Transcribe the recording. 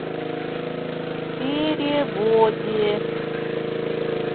перевозе